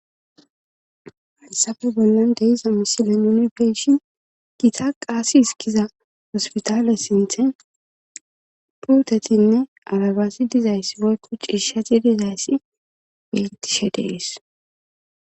haysafe bollan de'iza misile yunpeshin gita qaasi hiskiza hospitaale sinthe pultetinne alabasi dizayssi woykku ciishati dizayssi betishe deis